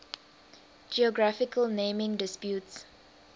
geographical naming disputes